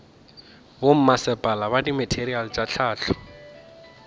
bommasepala fa dimateriale tša hlahlo